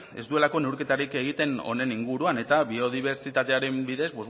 ez duelako neurketarik egiten honen inguruan eta biodibertsitateari buruz